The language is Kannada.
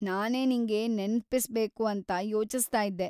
ನಾನೇ ನಿಂಗೆ ನೆನ್ಪಿಸ್ಬೇಕು ಅಂತ ಯೋಚಿಸ್ತಾ ಇದ್ದೆ.